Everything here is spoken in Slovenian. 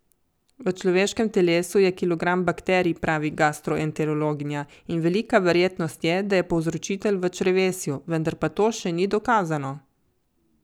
V človeškem telesu je kilogram bakterij, pravi gastroenterologinja, in velika verjetnost je, da je povzročitelj v črevesju, vendar pa to še ni dokazano.